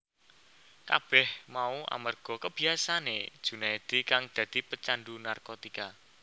Kabeh mau amarga kabiyasaane Junaedi kang dadi pecandhu narkotika